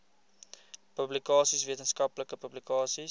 publikasies wetenskaplike publikasies